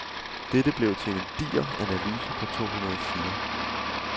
Dette blev til en diger analyse på to hundrede sider.